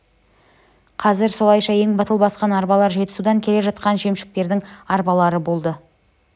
қазір солайша ең батыл басқан арбалар жетісудан келе жатқан жемшіктердің арбалары болды